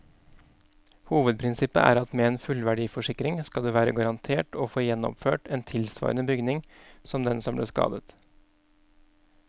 Hovedprinsippet er at med en fullverdiforsikring skal du være garantert å få gjenoppført en tilsvarende bygning som den som ble skadet.